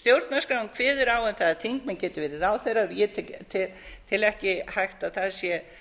stjórnarskráin kveður á um það að þingmenn geti verið ráðherrar og ég tel ekki að það sé